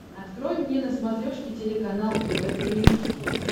открой мне на смотрешке телеканал тв три эйч ди